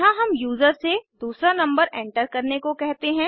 यहाँ हम यूजर से दूसरा नंबर एंटर करने को कहते हैं